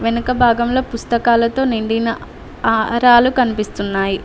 వెనక భాగంలో పుస్తకాలతో నిండిన ఆహారాలు కనిపిస్తున్నాయి.